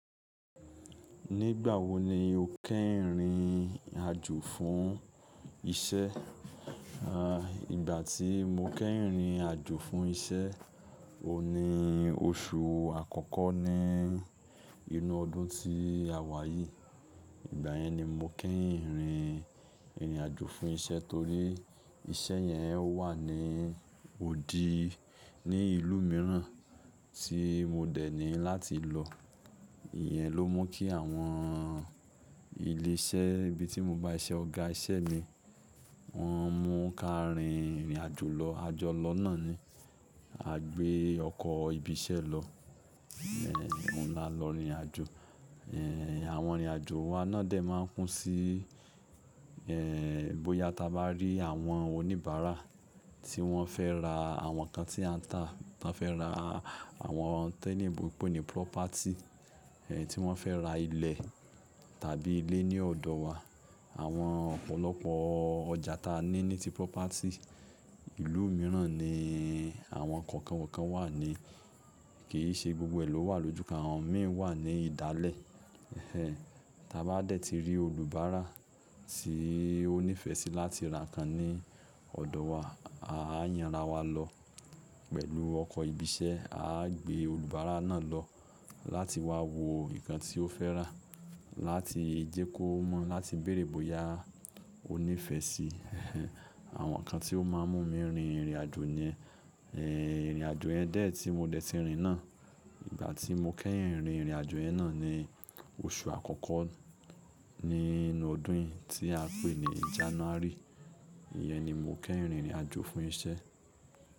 Nígbà wo ni o kẹ́yìn rìn àjò fún iṣẹ́? Aah, ìgbà tí mo kẹ́yìn rìn àjò fún iṣẹ́, o ní oṣù àkọ́kọ́ ní inú ọdún tí a wà yìí. Ìgbà yẹn ni mo kẹ́yìn rìn ìrìn àjò fún iṣẹ́ torí iṣẹ́ yẹn ó wà ní òdì, ní ìlú mìíràn tí mo dẹ̀ ní láti lọ. Iyẹn ló mú kí àwọn ilé iṣẹ́ ibi tí mo bá iṣẹ́ ọ̀gá iṣẹ́ mi, wọ́n mú ká rìn ìrìn àjò lọ. A jọ lọ náà ni. A gbé ọkọ̀ ibi iṣẹ́ lọ. Ẹ̀ekan la lọ ìrìn àjò. Ẹ̀ẹ̀, àwọn ìrìn àjò wa náà dẹ̀ máa ń kú sí, ẹ̀ẹ̀, bóyá ta bá rí àwọn oníbàárà tí wọ́n fẹ́ ra àwọn nǹkan tí a ń tà. Tan fẹ́ ra àwọn tí oloyinbo n pe nì property, ẹ̀, tí wọ́n fẹ́ ra ilẹ̀ tàbí ilé ní ọ̀dọ̀ wa. Àwọn ọ̀pọ̀lọpọ̀ ọjà ta ní nìtì property. Ìlú mìíràn ni àwọn nǹkan kookan kookán wà ní. Kì í ṣe gbogbo ẹ̀ ló wà lójúkan, àwọn mí i wà ní ìdálẹ̀. Ẹ̀hẹ̀n, ta bá dẹ̀ ti rí olùbára tí ó nífẹ̀ẹ́ sí láti ra nǹkan ní ọ̀dọ̀ wa, a yàn ra wa lọ pẹ̀lú ọkọ̀ ibi iṣẹ́. A á gbé olùbára náà lọ láti wá wo nǹkan tí ó fẹ́ rà láti jẹ kó mọ̀, láti bèèrè bóyá ó nífẹ̀ẹ́ sí. Ẹ̀hẹ̀n, àwọn nǹkan tí ó máa ń mú mi rin ìrìn àjò ni ẹ́hẹ̀, ìrìn àjò yẹn dẹ̀ tí mo dẹ̀ ti rìn náà. Ìgbà tí mo kẹ́yin rìn ìrìn àjò yẹn náà ni oṣù àkọ́kọ́ nínú ọdún yìí tí a pè ní January. Iyẹn ni mo kẹ́rìn ìrìn àjò fún iṣẹ́.